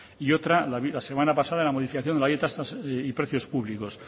y otra la semana pasada en la modificación de la ley de tasas y precios públicos